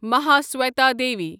Mahasweta Devi